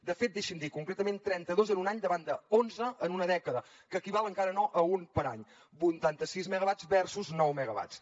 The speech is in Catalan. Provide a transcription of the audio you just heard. de fet deixi m’ho dir concretament trenta dos en un any davant d’onze en una dècada que equival encara no a un per any vuitanta sis megawatts versus nou megawatts